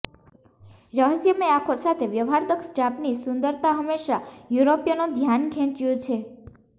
રહસ્યમય આંખો સાથે વ્યવહારદક્ષ જાપાનીઝ સુંદરતા હંમેશા યુરોપીયનો ધ્યાન ખેંચ્યું છે